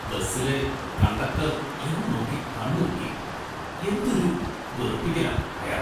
ബസിലെ conductor‍ എന്നെ നോക്കി കണ്ണിറുക്കി. എന്തൊരു വെറുപ്പിക്കലാ അയാള്‍ .